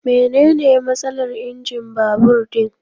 Mene ne matsalar injin babur din?